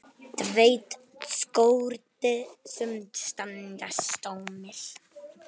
Tveir skór sem standa tómir.